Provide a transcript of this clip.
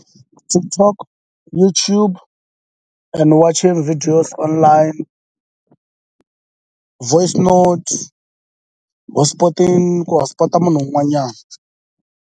TikTok YouTube and watching videos online voice notes hotspoting ku hotspot-a munhu wun'wanyani.